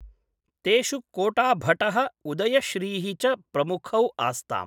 तेषु कोटाभटः उदयश्रीः च प्रमुखौ आस्ताम्।